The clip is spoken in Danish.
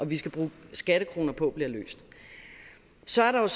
vi skal bruge skattekroner på bliver løst så er der